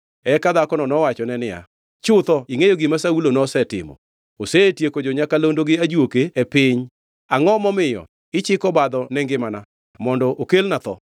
Eka dhakono nowachone niya, “Chutho ingʼeyo gima Saulo nosetimo. Osetieko jo-nyakalondo gi ajuoke e piny. Angʼo momiyo ichiko obadho ne ngimana, mondo okelna tho?”